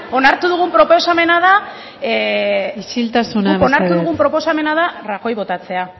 onartu dugun isiltasuna mesedez guk onartu dugun proposamena da rajoy botatzea